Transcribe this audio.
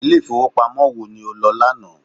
Ilé ìfowópamọ́ wo ni o lọ ní àná?